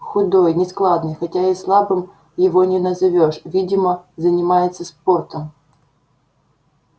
худой нескладный хотя и слабым его не назовёшь видимо занимается спортом